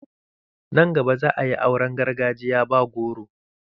Nan gaba za'a yi auran gargajiya ba goro.